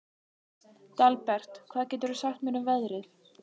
Dalbert, hvað geturðu sagt mér um veðrið?